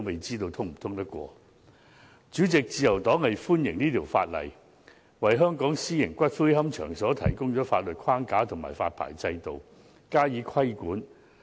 主席，自由黨歡迎《條例草案》，為香港私營龕場提供法律框架和發牌制度，加以規管。